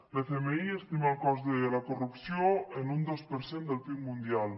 l’fmi estima el cost de la corrupció en un dos per cent del pib mundial